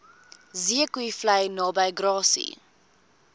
zeekoevlei naby grassy